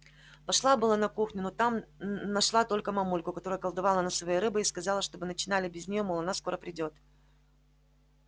пошла было на кухню но там нашла только мамульку которая колдовала над своей рыбой и сказала чтобы начинали без неё мол она скоро придёт